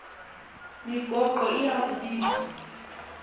migaqo iya kubizwa